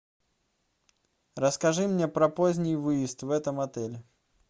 расскажи мне про поздний выезд в этом отеле